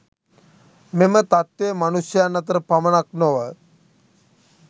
මෙම තත්වය මනුෂ්‍යයන් අතර පමණක් නොව